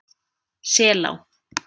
Selá